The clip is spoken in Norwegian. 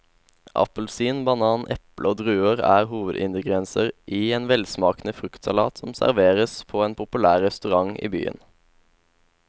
Appelsin, banan, eple og druer er hovedingredienser i en velsmakende fruktsalat som serveres på en populær restaurant i byen.